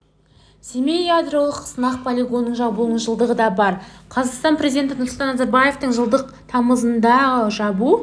семей ядролық сынақ полигонының жабылуының жылдығы да бар қазақстан президенті нұрсұлтан назарбаевтың жылдың тамызындағы жабу